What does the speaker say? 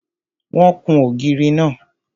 Wọ́n kún ògiri náà.